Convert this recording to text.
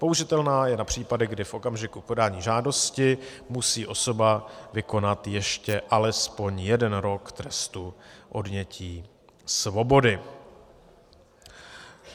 Použitelná je na případy, kdy v okamžiku podání žádosti musí osoba vykonat ještě alespoň jeden rok trestu odnětí svobody.